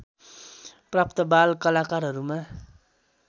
प्राप्त बाल कलाकारहरूमा